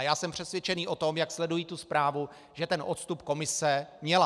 A já jsem přesvědčen o tom, jak sleduji tu zprávu, že ten odstup komise měla.